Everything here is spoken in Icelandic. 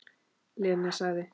Lena sagði